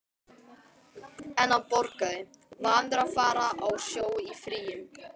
En hann borgaði, vanur að fara á sjó í fríum.